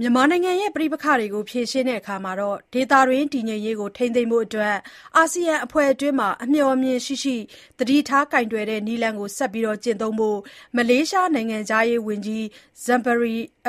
မြန်မာနိုင်ငံရဲ့ ပဋိပက္ခကို ဖြေရှင်းရာမှာ ဒေသတွင်းတည်ငြိမ်ရေးကို ထိန်းသိမ်းဖို့အတွက် အာဆီယံအဖွဲ့အတွင်း အမျှော်အမြင်ရှိရှိ သတိထားကိုင်တွယ်တဲ့ နည်းလမ်းကို ဆက်လက်ကျင့်သုံးဖို့ မလေးရှားနိုင်ငံခြားရေးဝန်ကြီး Datuk Seri Zambry